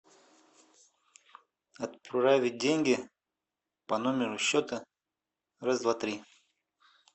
отправить деньги по номеру счета раз два три